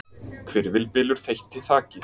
Hvirfilbylur þeytti þaki